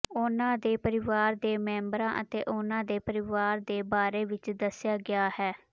ਉਨ੍ਹਾਂ ਦੇ ਪਰਿਵਾਰ ਦੇ ਮੈਂਬਰਾਂ ਅਤੇ ਉਨ੍ਹਾਂ ਦੇ ਪਰਿਵਾਰਾਂ ਦੇ ਬਾਰੇ ਵਿੱਚ ਦੱਸਿਆ ਗਿਆ ਹੈ